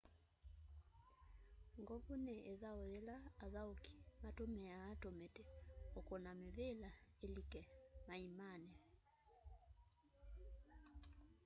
ngovu ni ithau yila athauki matumiaa tumiti ukuna mivila ilike maimani